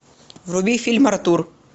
вруби фильм артур